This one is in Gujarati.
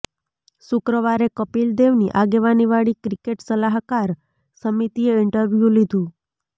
શુક્રવારે કપિલ દેવની આગેવાની વાળી ક્રિકેટ સલાહકાર સમિતિએ ઈન્ટરવ્યું લીધું